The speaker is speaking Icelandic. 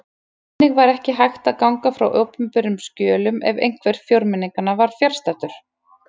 Þannig var ekki hægt að ganga frá opinberum skjölum ef einhver fjórmenninganna var fjarstaddur!